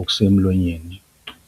okusemlonyeni.